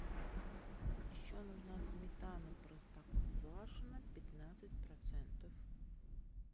еще нужна сметана простоквашино пятнадцать процентов